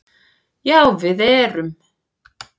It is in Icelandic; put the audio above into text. Já við erum